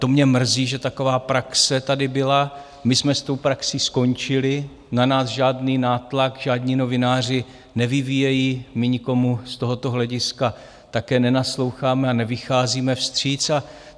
To mě mrzí, že taková praxe tady byla, my jsme s tou praxí skončili, na nás žádný nátlak žádní novináři nevyvíjejí, my nikomu z tohoto hlediska také nenasloucháme a nevycházíme vstříc.